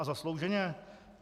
A zaslouženě?